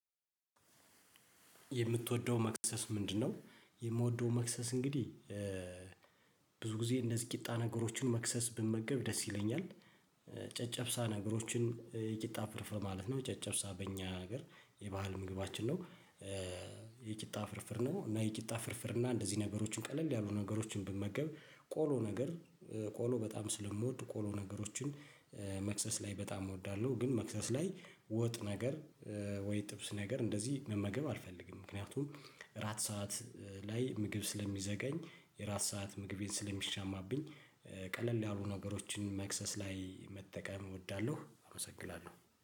የምትወደው መክሰስ ምንድነው? የምወደው መክሰስ እንግዲህ ብዙ ጊዜ እንደዚህ ቂጣ ነገሮችን መክሰስ ብመገብ ደስ ይለኛል። ጨጨብሳ ነገሮችን የቂጣ ፍርፍር ማለት ነው ጨጨብሳ በእኛ ሀገር የባህል ምግባችን ነው። የቂጣ ፍርፍር ነው እና የቂጣ ፍርፍር እና እንደዚህ ነገሮችን ቀለል ያሉ ነገሮችን ብመገብ ቆሎ ነገር ቆሎ በጣም ስለምወድ ቆሎ ነገሮችን መክሰስ ላይ በጣም እወዳለሁ። ግን መክሰስ ላይ ወጥ ነገር ወይ ጥብስ ነገር እንደዚህ መመገብ አልፈልግም። ምክንያቱም እራት ሰዓት ላይ ምግብ ስለሚዘጋኝ የእራት ሰዓት ምግቤን ስለሚሻማብኝ። ቀለል ያሉ ነገሮችን መክሰስ ላይ መጠቀም እወዳለሁ። አመሰግናለሁ